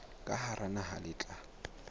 ka hara naha le tla